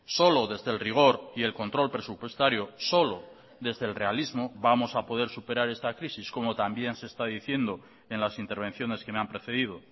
solo desde el rigor y el control presupuestario solo desde el realismo vamos a poder superar esta crisis como también se está diciendo en las intervenciones que me han precedido